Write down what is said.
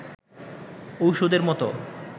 ঔষধের মতো